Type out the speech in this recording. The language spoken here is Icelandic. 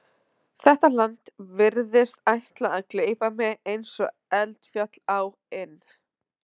Þetta land virðist ætla að gleypa mig eins og eldfjall á inn